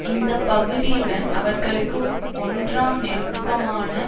இந்த பகுதியுடன் அவர்களுக்கு ஒன்றாம் நெருக்கமான